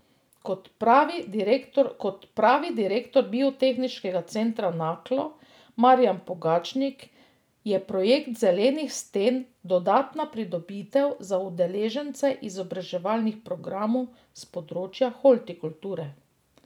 Kot pravi direktor Biotehniškega centra Naklo Marijan Pogačnik, je projekt zelenih sten dodatna pridobitev za udeležence izobraževalnih programov s področja hortikulture.